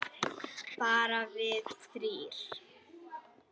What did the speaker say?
Bara við þrír.